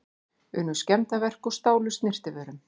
Unnu skemmdarverk og stálu snyrtivörum